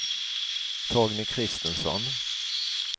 Torgny Kristensson